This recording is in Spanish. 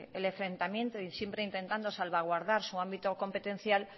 el enfrentamiento y siempre intentando salvaguardar su ámbito competencial